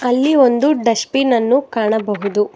ಅಲ್ಲಿ ಒಂದು ಡಸ್ಟ್ಬಿನ್ ಅನ್ನು ಕಾಣಬಹುದು.